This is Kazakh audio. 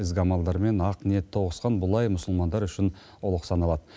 ізгі амалдар мен ақ ниет тоғысқан бұл ай мұсылмандар үшін ұлық саналады